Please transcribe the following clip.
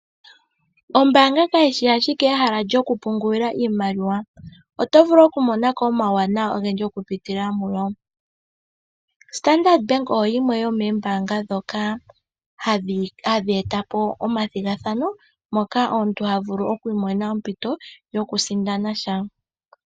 Ombaanga kayi shi ashike ehala lyokupungula iimaliwa. Oto vulu okumona ko omauwanawa ogendji okupitila mu yo. Standard Bank oyo yimwe yomoombaanga ndhoka hadhi eta po omathigathano moka omuntu ha vulu oku imonena ompito yokusindana sha.